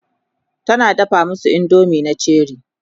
tana dafa masu indomie na Cherie